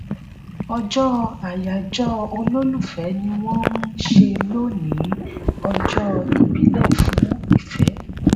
ọjọ́ àyájọ́ olólùfẹ́ ni wọ́n ń ṣe lónìí ọjọ́ ìbílẹ̀ fún ìfẹ́.